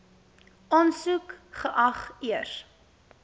aansoek geag eers